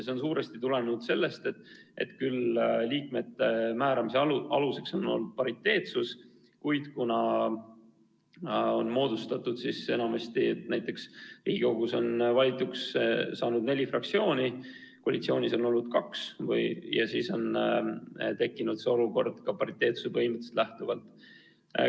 See on suuresti tulenenud sellest, et liikmete määramise aluseks on küll olnud pariteetsus, kuid kuna enamasti on Riigikokku valituks saanud neli fraktsiooni, koalitsioonis on olnud kaks, siis on tekkinud olukord vastanud pariteetsuse põhimõttele.